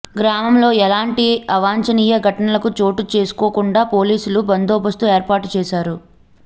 గ్రామంలో ఎలాంటి అవాంఛనీయ సంఘటనలు చోటు చేసుకోకుండా పోలీసులు బందోబస్తు ఏర్పాటు చేశారు